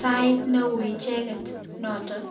sait ne ui icheket noton. journey-banda